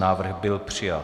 Návrh byl přijat.